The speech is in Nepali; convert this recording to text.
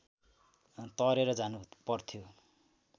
तरेर जानुपर्थ्यो